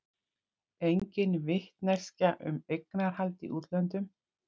Engin vitneskja um eignarhald í útlöndum